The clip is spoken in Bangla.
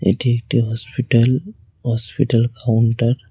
এটি একটি হসপিটাল হসপিটাল কাউন্টার ।